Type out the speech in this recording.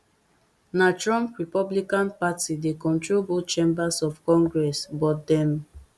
na trump republican party dey control both chambers of congress but dem